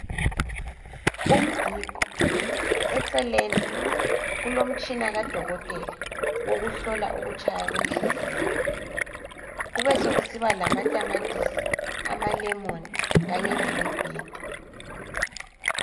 Umgiqo eceleni kulomtshina kaDokotela wokuhlola ukutshaya kwenhliziyo. Kubesokusiba lamatamatisi, amalemon kanye lemibhida.